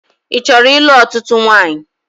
Ị chọrọ ịlụ̣ ọ̣tụ̣tụ̣ nwanyị?